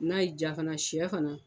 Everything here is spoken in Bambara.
N'a y'i diya fana sɛ fana